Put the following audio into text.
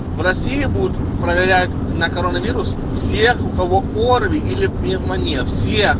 в россии будут проверять на коронавирус всех кого орви или пневмония всех